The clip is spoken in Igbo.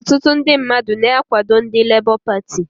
Ọtụtụ ndị mmadụ na-akwado ndị Lebọ Pati